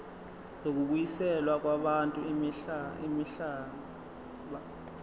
zokubuyiselwa kwabantu imihlaba